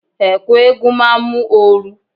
Ẹ̀ẹ̀ku eégún máa mú ooru.